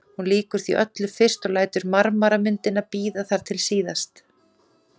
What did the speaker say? Hún lýkur því öllu fyrst og lætur marmaramyndina bíða þar til síðast.